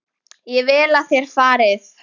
Ég vil að þér farið.